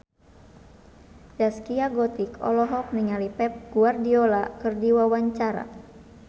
Zaskia Gotik olohok ningali Pep Guardiola keur diwawancara